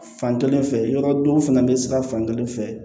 Fan kelen fɛ yɔrɔ dɔw fana bɛ sira fan kelen fɛ